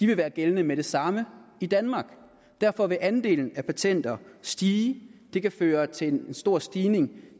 vil være gældende med det samme i danmark derfor vil andelen af patenter stige det kan føre til en stor stigning